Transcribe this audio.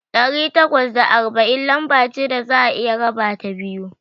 Ɗari takwas da arba'in lamba ce da za'a iya rabata biyu.